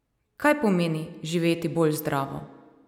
Kaj pomeni živeti bolj zdravo?